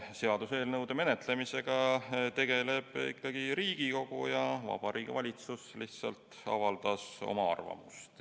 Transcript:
Seaduseelnõude menetlemisega tegeleb ikkagi Riigikogu ja Vabariigi Valitsus lihtsalt avaldas oma arvamust.